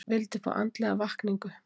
Vildi fá andlega vakningu